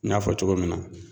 N y'a fɔ cogo min na